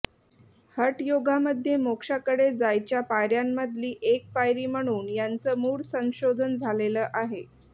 हठयोगामध्ये मोक्षाकडे जायच्या पायऱ्यांमधली एक पायरी म्हणून यांचं मूळ संशोधन झालेलं आहे